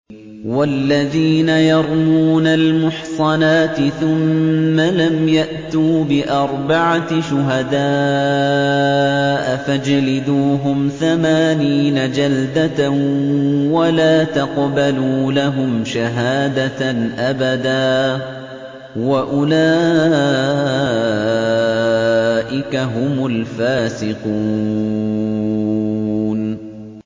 وَالَّذِينَ يَرْمُونَ الْمُحْصَنَاتِ ثُمَّ لَمْ يَأْتُوا بِأَرْبَعَةِ شُهَدَاءَ فَاجْلِدُوهُمْ ثَمَانِينَ جَلْدَةً وَلَا تَقْبَلُوا لَهُمْ شَهَادَةً أَبَدًا ۚ وَأُولَٰئِكَ هُمُ الْفَاسِقُونَ